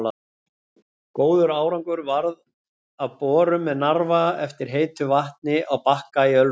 Góður árangur varð af borun með Narfa eftir heitu vatni á Bakka í Ölfusi.